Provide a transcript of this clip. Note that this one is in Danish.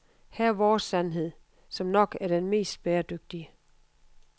Her er vores sandhed, som nok er den mest bæredygtige.